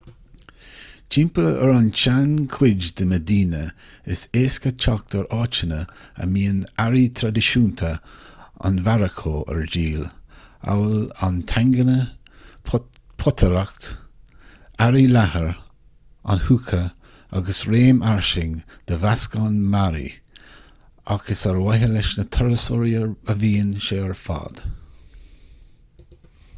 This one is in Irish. timpeall ar an tseanchuid de mheidíne is éasca teacht ar áiteanna a mbíonn earraí traidisiúnta an mharacó ar díol amhail an tagine potaireacht earraí leathair an hookah agus réim fhairsing de mheascán mearaí ach is ar mhaithe leis na turasóirí a bhíonn sé ar fad